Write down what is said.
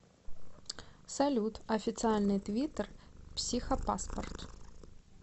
салют официальный твиттер психопаспорт